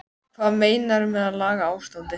Hvað meinarðu með að laga ástandið?